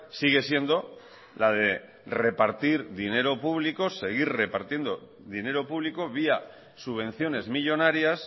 sigue siendo la de repartir dinero público seguir repartiendo dinero público vía subvenciones millónarias